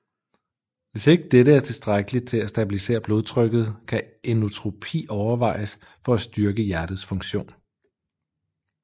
Hvis ikke dette er tilstrækkeligt til at stabilisere blodtrykket kan inotropi overvejes for at styrke hjertets funktion